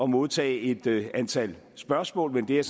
modtage et antal spørgsmål men det er